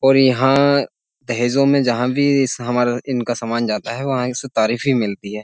और यहां दहेजों में जहां भी हमारा इनका सामान जाता है वहां से तारीफ भी मिलती है।